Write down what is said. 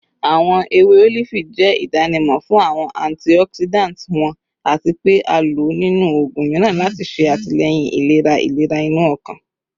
Awọn ewe olifi jẹ idanimọ fun awọn antioxidants wọn ati pe a lo ninu oogun miiran lati ṣe atilẹyin ilera ilera inu ọkan